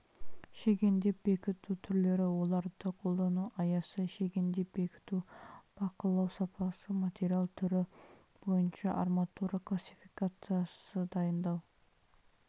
шегендеп бекіту түрлері оларды қолдану аясы шегендеп бекіту бақылау сапасы материал түрі бойынша арматура классификациясы дайындау